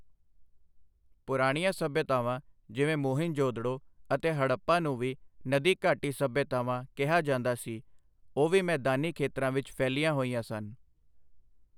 ਪੁਰਾਣੀਆਂ ਸੱਭਿਅਤਾਵਾਂ ਜਿਵੇਂ ਮੋਹਿੰਜੋਦੜੋ ਅਤੇ ਹੜੱਪਾ ਨੂੰ ਵੀ ਨਦੀ ਘਾਟੀ ਸੱਭਿਅਤਾਵਾਂ ਕਿਹਾ ਜਾਂਦਾ ਸੀ ਉਹ ਵੀ ਮੈਦਾਨੀ ਖੇਤਰਾਂ ਵਿਚ ਫੈਲੀਆਂ ਹੋਈਆਂ ਸਨ।